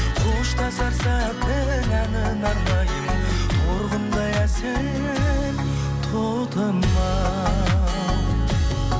қоштасар сәттің әніне арнаймын торғындай әсем тотымау